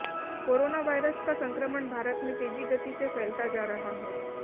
corona virus का संक्रमण भारत में तेजी गति से फैलता जा रहा है